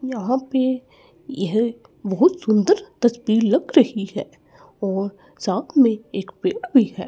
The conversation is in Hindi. यहां पे यह बहुत सुंदर तस्वीर लग रही है और साथ में एक पेड़ भी है।